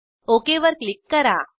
okay वर click करा